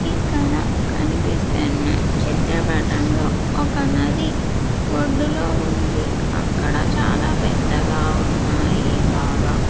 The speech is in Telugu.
ఇక్కడ కనిపిస్తున్న చిత్రపటంలో ఒక నది ఒడ్డులో ఉంది అక్కడ చాలా పెద్దగా ఉన్నాయి బాగా.